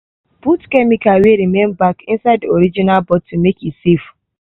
put chemical wey remain back inside the original bottle make e safe.